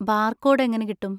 Barcode എങ്ങനെ കിട്ടും?